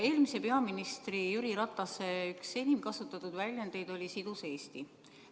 Eelmise peaministri Jüri Ratase üks enim kasutatud väljendeid oli "sidus Eesti".